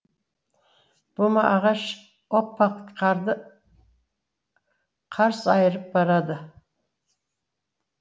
бума ағаш оппа қарды қарс айырып барады